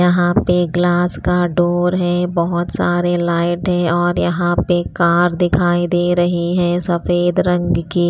यहाँ पे ग्लास का डोर है बहुत सारे लाइट है और यहाँ पे कार दिखाई दे रही है सफेद रंग की--